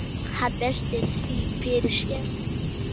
Hann veltir því fyrir sér.